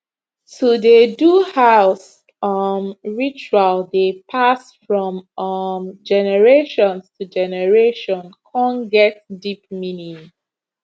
to dey do house um ritual dey pass from um generations to generation con get deep meaning